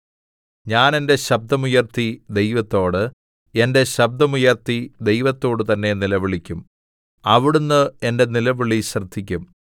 ഞാൻ എന്റെ ശബ്ദം ഉയർത്തി ദൈവത്തോട് എന്റെ ശബ്ദം ഉയർത്തി ദൈവത്തോടുതന്നെ നിലവിളിക്കും അവിടുന്ന് എന്റെ നിലവിളി ശ്രദ്ധിക്കും